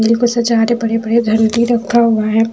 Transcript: बिल्कुल सजा ते पड़े-पड़े घर उनके लिए रखा हुआ है।